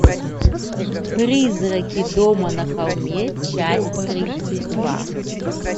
призраки дома на холме часть тридцать два